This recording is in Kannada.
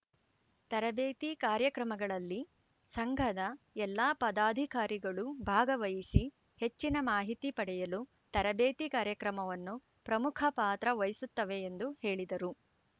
ತರಬೇತಿ ಕಾರ್ಯಕ್ರಮಗಳಲ್ಲಿ ಸಂಘದ ಎಲ್ಲ ಪದಾಧಿಕಾರಿಗಳು ಭಾಗವಹಿಸಿ ಹೆಚ್ಚಿನ ಮಾಹಿತಿ ಪಡೆಯಲು ತರಬೇತಿ ಕಾರ್ಯಕ್ರಮವನ್ನು ಪ್ರಮುಖ ಪಾತ್ರ ವಹಿಸುತ್ತವೆ ಎಂದು ಹೇಳಿದರು